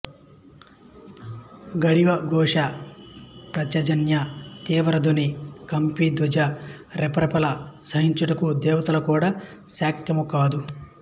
గాండీవ ఘోష పాంచజన్య తీవ్ర ధ్వని కపిధ్వజ రెపరెపలు సహించుటకు దేవతలకు కూడా శక్యము కాదు